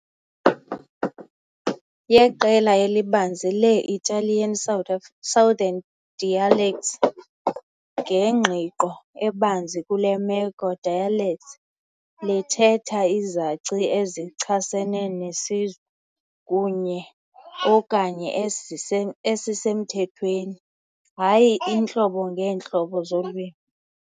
yeqela elibanzi lee -Italian-Southern dialects ngengqiqo ebanzi, kule meko " dialects " lithetha "izaci ezichasene nesizwe kunye - okanye esisemthethweni", hayi "iintlobo ngeentlobo zolwimi".